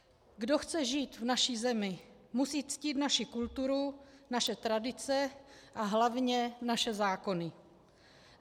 Kdo chce žít v naší zemi, musí ctít naši kulturu, naše tradice a hlavně naše zákony.